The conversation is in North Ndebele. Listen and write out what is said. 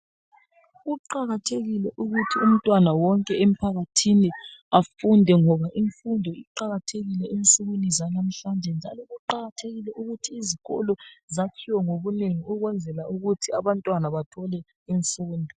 Kuqakathekile ukuthi umntwana wonke emphakathini afunde ngoba imfundo iqakathekile ensukwini zanamhlanje kuqakathekile ukuthi izikolo ziyakhiwe ngobunengi ukuthi abantwana bathole imfundo.